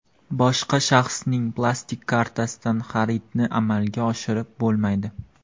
Boshqa shaxsning plastik kartasidan xaridni amalga oshirib bo‘lmaydi.